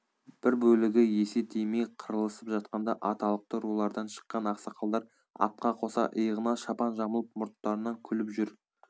бір бөлігі есе тимей қырылысып жатқанда аталықты рулардан шыққан ақсақалдар атқа қоса иығына шапан жамылып мұрттарынан күліп жүр